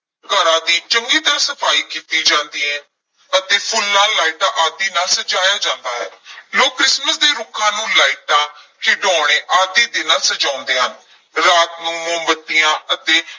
ਘਰਾਂ ਦੀ ਚੰਗੀ ਤਰ੍ਹਾਂ ਸਫ਼ਾਈ ਕੀਤੀ ਜਾਂਦੀ ਹੈ ਅਤੇ ਫੁੱਲਾਂ, ਲਾਈਟਾਂ ਆਦਿ ਨਾਲ ਸਜਾਇਆ ਜਾਂਦਾ ਹੈ ਲੋਕ ਕ੍ਰਿਸਮਸ ਦੇ ਰੁੱਖਾਂ ਨੂੰ ਲਾਈਟਾਂ, ਖਿਡੌਣੇ ਆਦਿ ਦੇ ਨਾਲ ਸਜਾਉਂਦੇ ਹਨ, ਰਾਤ ਨੂੰ ਮੋਮਬੱਤੀਆਂ ਅਤੇ